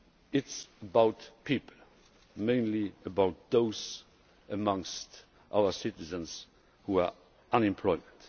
It is about people mainly about those amongst our citizens who are unemployed.